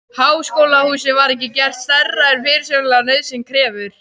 Háskólahúsið var ekki gert stærra en fyrirsjáanleg nauðsyn krefur.